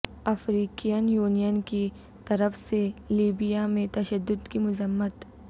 African Union کی طرف سے لیبیا میں تشدد کی مذمت